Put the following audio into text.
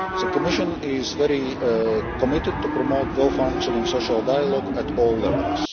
The Commission is very committed to promote well-functioning social dialogue at all levels.